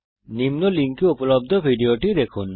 নিম্ন লিঙ্কে উপলব্ধ ভিডিওটি দেখুন